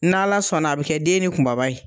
N' Ala sɔnna a bi kɛ den ni kunbaba ye.